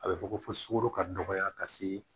A bɛ fɔ ko fo sukoro ka dɔgɔya ka se